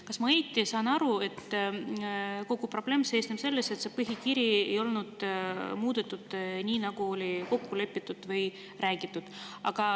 Kas ma saan õigesti aru, et kogu probleem seisneb selles, et seda põhikirja ei ole muudetud nii, nagu oli kokku lepitud?